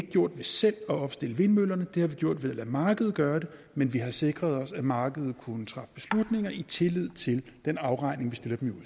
gjort ved selv at opstille vindmøllerne det har vi gjort ved at lade markedet gøre det men vi har sikret os at markedet kunne træffe beslutninger i tillid til den afregning vi stiller dem